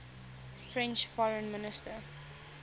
french foreign minister